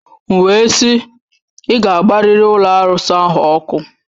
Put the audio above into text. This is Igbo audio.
M wee sị, ị ga-agbarịrị ụlọ arụsị ahụ ọkụ!